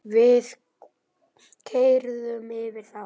Við keyrðum yfir þá.